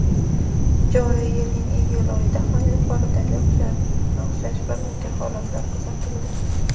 joriy yilning iyul oyida ham yuqoridagiga o‘xshash bir necha holatlar kuzatildi.